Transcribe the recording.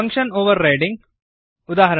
function overriding ಉದಾ